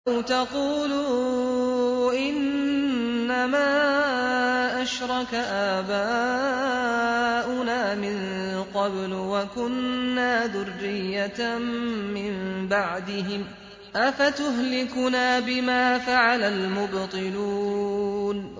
أَوْ تَقُولُوا إِنَّمَا أَشْرَكَ آبَاؤُنَا مِن قَبْلُ وَكُنَّا ذُرِّيَّةً مِّن بَعْدِهِمْ ۖ أَفَتُهْلِكُنَا بِمَا فَعَلَ الْمُبْطِلُونَ